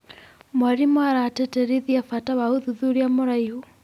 Mwarimũ aratĩtĩrithia bata wa ũthuthuria mũraihu.